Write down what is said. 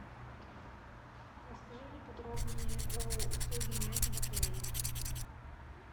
расскажи мне подробнее о услуге няни в отеле